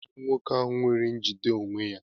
Kedu onye bụ nwoke ahụ nwere njide onwe ya?